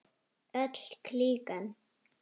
Öll klíkan.